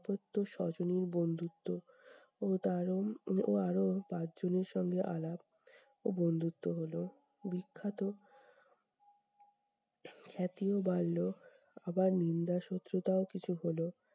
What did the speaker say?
তো সজনীর বন্ধুত্ব ও তারও ও আরো পাঁচ জন্যে সঙ্গে আলাপ ও বন্ধুত্ব হলো, বিখ্যাত খ্যাতিও বাড়লো, আবার নিন্দা শত্রুতাও কিছু হলো।